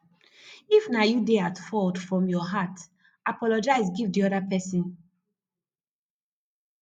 if na you dey at fault from your heart apologize give di oda person